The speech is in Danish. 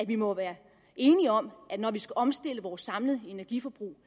vi må være enige om at når vi skal omstille vores samlede energiforbrug